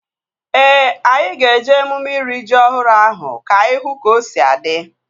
Ee, anyị ga-eje emume iri ji ọhụrụ ahụ ka anyị hụ ka o si adị